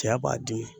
Cɛya b'a dimi